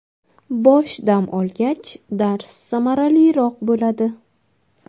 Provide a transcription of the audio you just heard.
Bosh dam olgach, dars samaraliroq bo‘ladi.